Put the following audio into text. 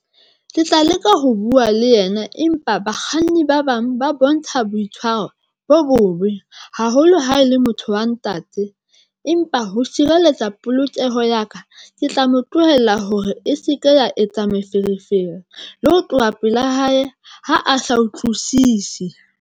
Ke tla leka ho bua le yena, empa bakganni ba bang ba bontsha boitshwaro bo bobe haholo. Ha e le motho wa ntate empa ho sireletsa polokeho ya ka, ke tla mo tlohela hore e se ke ya etsa meferefere le ho tloha pela hae. Ha a sa utlwisisi.